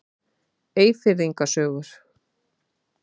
Eyfirðinga sögur.